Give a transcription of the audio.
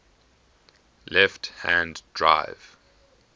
left hand drive